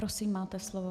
Prosím, máte slovo.